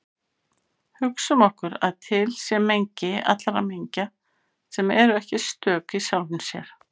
Hugsum okkur að til sé mengi allra mengja sem eru ekki stök í sjálfum sér.